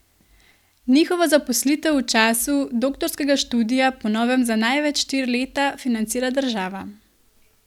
Njihovo zaposlitev v času doktorskega študija po novem za največ štiri leta financira država.